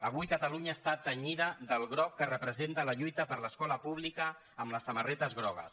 avui catalunya està tenyida del groc que representa la lluita per l’escola pública amb les samarretes grogues